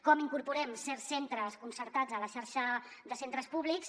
com incorporem certs centres concertats a la xarxa de centres públics